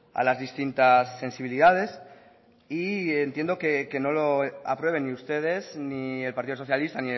a las distintas sensibilidades y entiendo que no lo aprueben ni ustedes ni el partido socialista